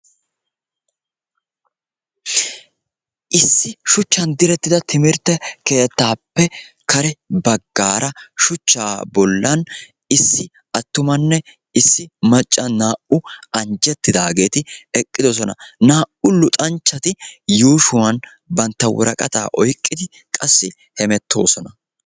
Issi shuchchan direttida timmirtte keettappe kare baggaara shuchcha bollan issi attumanne issi macca naa"u anjjettidaageeti eqqidoosona. Naa"u luxanchchari yuushuwan bantta woraqata oyqqidi qassi hemettoosona.